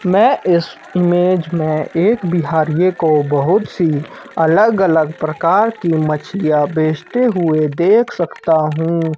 मैं इस इमेज में एक बिहारीये को बहुत सी अलग अलग प्रकार की मछलियाँ बेचते हुए देख सकता हूँ।